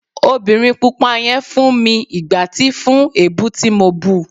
obìnrín pupa yen fún mi igbáti fún ebú ti mọ bú